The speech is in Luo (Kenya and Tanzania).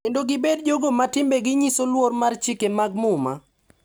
Kendo gibed jogo ma timbegi nyiso luor mar chike mag muma.